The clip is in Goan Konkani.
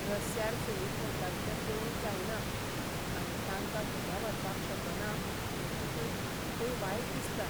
रस्यार सुणीं भोंवतात तें पळोवंक जायना, आनी तांकां घरा व्हरपाक शकना हें चिंतून आनीकय वायट दिसता.